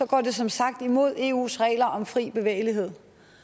går det som sagt imod eus regler om fri bevægelighed